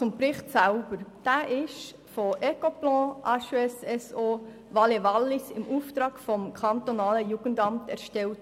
Der Bericht wurde von Ecoplan / HES-SO Valais-Wallis im Auftrag des Kantonalen Jugendamts (KJA) Bern erstellt.